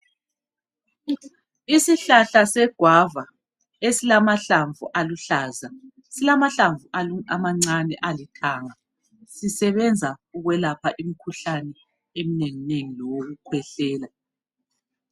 Isihlahla se guava esilamahlamvu aluhlaza, silamahlamvu amancane alithanga sisebenza ukwelapha imikhuhlane eminengi nengi leyokukhwehlela.